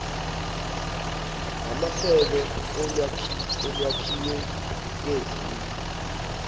ngamasebe olwakhiwo lwezindlu